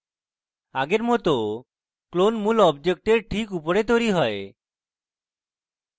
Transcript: আগের মত ক্লোন মূল অবজেক্টের ঠিক উপরে তৈরী হয়